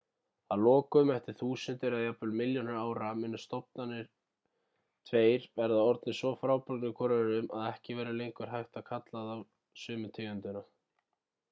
að lokum eftir þúsundir eða jafnvel milljónir ára munu stofnarnir tveir vera orðnir svo frábrugðnir hvor öðrum að ekki verður lengur hægt að kalla þá sömu tegundina